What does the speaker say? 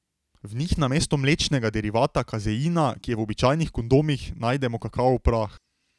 V njih namesto mlečnega derivata kazeina, ki je v običajnih kondomih, najdemo kakavov prah.